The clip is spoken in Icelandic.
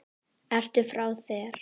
Ég vil að þér farið.